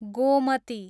Gomti